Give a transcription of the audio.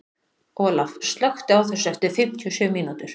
Olaf, slökktu á þessu eftir fimmtíu og sjö mínútur.